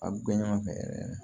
A bɛ kɛ ɲɔgɔn fɛ yɛrɛ yɛrɛ